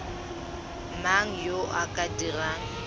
mang yo o ka dirang